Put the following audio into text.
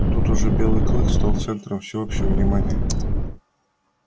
тут уже белый клык стал центром всеобщего внимания